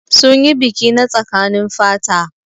Sun yi biki na tsakanin fata.